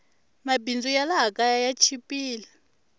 mabindzu ya laha kaya ya chipile